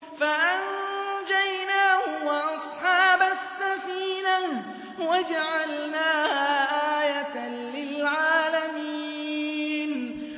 فَأَنجَيْنَاهُ وَأَصْحَابَ السَّفِينَةِ وَجَعَلْنَاهَا آيَةً لِّلْعَالَمِينَ